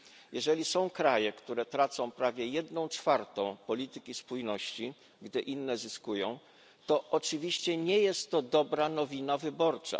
Jeżeli są kraje, które tracą prawie jedną czwartą korzyści płynących z polityki spójności, gdy inne zyskują, to oczywiście nie jest to dobra nowina wyborcza.